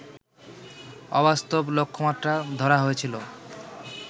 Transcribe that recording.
অবাস্তব লক্ষ্যমাত্রা ধরা হয়েছিল